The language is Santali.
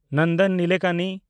ᱱᱚᱱᱫᱚᱱ ᱱᱤᱞᱮᱠᱟᱱᱤ